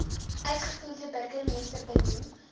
uitvoerende burgemeester benoem